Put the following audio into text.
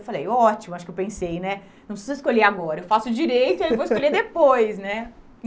Eu falei, ótimo, acho que eu pensei né, não preciso escolher agora, eu faço Direito e aí vou escolher depois, né?